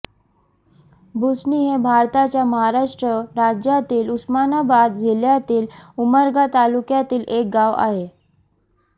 भुसणी हे भारताच्या महाराष्ट्र राज्यातील उस्मानाबाद जिल्ह्यातील उमरगा तालुक्यातील एक गाव आहे